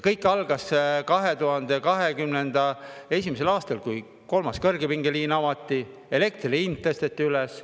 Kõik algas 2021. aastal, kui kolmas kõrgepingeliin avati, elektri hind tõsteti kõrgeks.